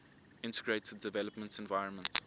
integrated development environment